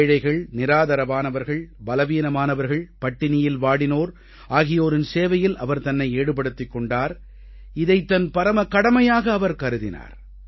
ஏழைகள் நிராதரவானவர்கள் பலவீனமானவர்கள் பட்டினியில் வாடினோர் ஆகியோரின் சேவையில் அவர் தன்னை ஈடுபடுத்திக் கொண்டார் இதைத் தன் பரம கடமையாக அவர் கருதினார்